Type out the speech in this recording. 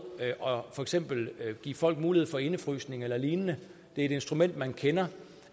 og for eksempel give folk mulighed for indefrysning eller lignende det er et instrument man kender